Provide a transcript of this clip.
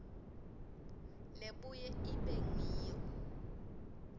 lebuye ibe ngiyo